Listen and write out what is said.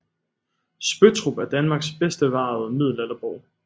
Spøttrup er Danmarks bedst bevarede middelalderborg